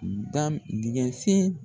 Dam dingɛ sen